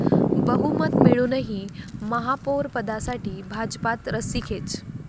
बहुमत मिळूनही महापौरपदासाठी भाजपात रस्सीखेच